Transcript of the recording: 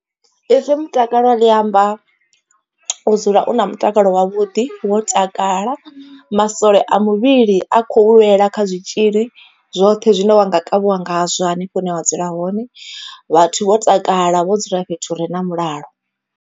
Ipfhi mutakalo ḽi amba u dzula u na mutakalo wavhuḓi wo takala, masole a muvhili a khou lwela kha zwitzhili zwoṱhe zwine wa nga kavhiwa ngazwo hanefho hune wa dzula hone. Vhathu vho takala vho dzula fhethu hure na mulalo.